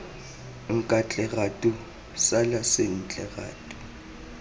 nkatle ratu sala sentle ratu